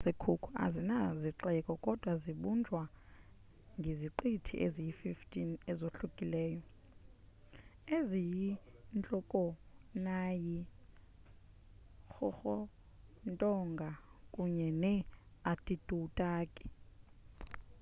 iziqithi zase-cook azina zixeko kodwa zibunjwa ngeziqithi eziyi-15 ezohlukileyo eziyintlokoonayi-rarotonga kunye ne-aitutaki